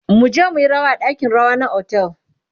muje muyi rawa a ɗakin rawa na otel